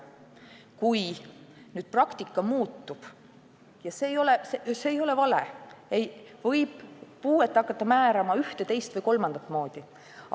Kui nüüd praktika muutub – ja see ei ole vale –, võib puuet hakata määrama ühte, teist või kolmandat moodi.